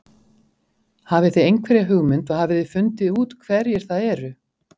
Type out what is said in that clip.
Hafið þið einhverja hugmynd og hafið þið fundið út hverjir það eru?